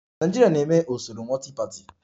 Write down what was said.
Nigeria na-eme usoro multi-party